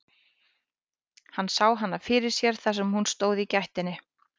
Hann sá hana fyrir sér þar sem hún stóð í gættinni.